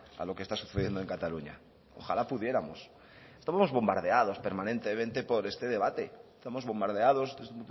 a lo que está sucediendo en cataluña ojalá pudiéramos estamos bombardeados permanentemente por este debate estamos bombardeados desde